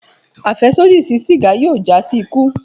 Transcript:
Afẹsodi si siga yoo ja si iku